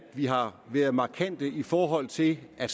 vi har været markante i forhold til at